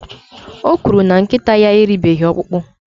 o kwuru na nkịta ya eribeghị ọkpụkpụ